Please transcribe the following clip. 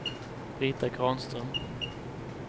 Brita Granström